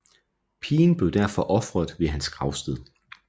Pigen blev derfor ofret ved hans gravsted